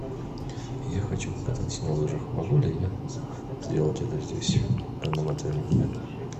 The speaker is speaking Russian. я хочу покататься на лыжах могу ли я сделать это здесь в данном отеле